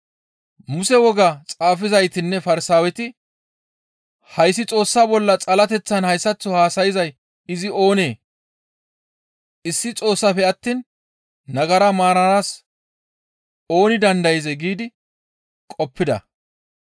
Muse wogaa xaafizaytinne Farsaaweti, «Hayssi Xoossa bolla xalateththan hayssaththo haasayzay izi oonee? Issi Xoossafe attiin nagara maaranaas ooni dandayzee?» giidi qoppida.